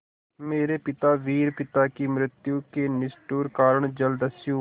मेरे पिता वीर पिता की मृत्यु के निष्ठुर कारण जलदस्यु